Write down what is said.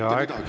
Teie aeg!